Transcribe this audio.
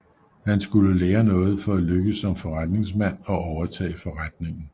Han skulle lære noget for at lykkes som forretningsmand og overtage forretningen